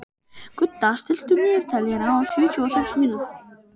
Gudda, stilltu niðurteljara á sjötíu og sex mínútur.